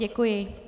Děkuji.